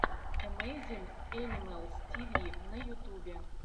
эмэйзин энимэлс тиви на ютубе